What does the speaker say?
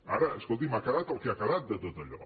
ara escolti’m ha quedat el que ha quedat de tot allò